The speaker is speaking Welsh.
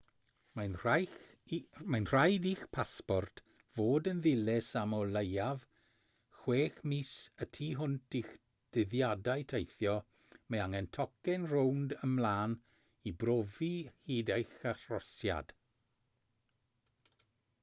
mae'n rhaid i'ch pasport fod yn ddilys am o leiaf 6 mis y tu hwnt i'ch dyddiadau teithio. mae angen tocyn rownd/ymlaen i brofi hyd eich arhosiad